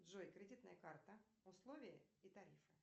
джой кредитная карта условия и тарифы